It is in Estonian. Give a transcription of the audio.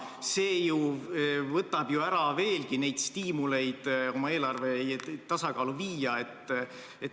See ju võtab veelgi ära stiimulit oma eelarve tasakaalu viia.